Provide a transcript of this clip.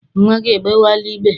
Nnwa gị egbewela igbe?